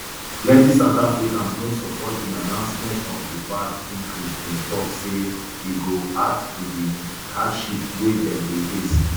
plenti south africans no support di announcement of di vat increase dem tok say e go um add to di hardship wey dem dey face